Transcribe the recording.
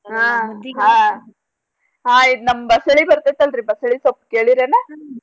ಹಾ ಹ ಹಾ ಇದ್ ನಮ್ ಬಸಳಿ ಬರ್ತೇತ್ ಅಲ್ರೀ ಬಸ್ಳಿ ಸೊಪ್ ಕೇಳಿರ್ಯಾನ?